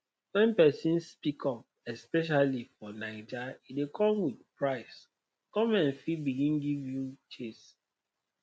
when person speak up especially for naija e dey come with price government fit begin give you chase